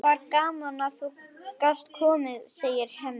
Það var gaman að þú gast komið, segir Hemmi.